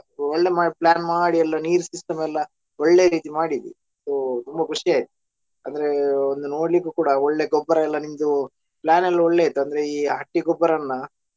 ಒಳ್ಳೆ ಮಾಡಿ plan ಮಾಡಿ ಎಲ್ಲ ನೀರ್ system ಎಲ್ಲಾ ಒಳ್ಳೆ ರೀತಿ ಮಾಡಿದ್ವಿ so ತುಂಬಾ ಖುಷಿ ಆಯ್ತು ಅಂದ್ರೆ ಒಂದು ನೋಡ್ಲಿಕ್ಕು ಕೂಡಾ ಒಳ್ಳೆ ಗೊಬ್ಬರ ಎಲ್ಲಾ ನಿಮ್ದೂ plan ಎಲ್ಲಾ ಒಳ್ಳೆಯಿತ್ತು ಅಂದ್ರೆ ಈ ಹಟ್ಟಿ ಗೊಬ್ಬರವನ್ನಾ.